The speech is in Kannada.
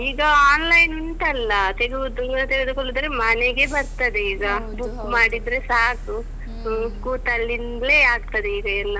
ಈಗ online ಉಂಟಲ್ಲ ತೆಗಿಯುದು ತೆಗೆದುಕೊಳ್ಳುದಾದ್ರೆ ಮನೆಗೆ ಬರ್ತದೆ ಈಗ. book ಮಾಡಿದ್ರೆ ಸಾಕು ಕೂತಲ್ಲಿಂದ್ಲೇ ಆಗ್ತದೆ ಈಗ ಎಲ್ಲ.